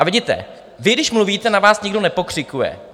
A vidíte, vy když mluvíte, na vás nikdo nepokřikuje.